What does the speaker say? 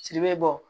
Sirimɛ bɔ